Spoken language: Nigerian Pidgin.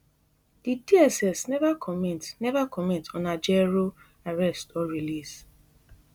di dss neva comment neva comment on ajaero arrest or release